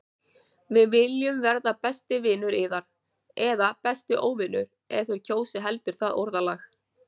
Við viljum verða besti vinur yðar- eða besti óvinur- ef þér kjósið heldur það orðalag.